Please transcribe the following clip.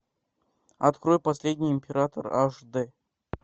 открой последний император аш дэ